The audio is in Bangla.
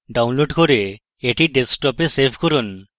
download করুন এবং আপনার ডেস্কটপে এটি save করুন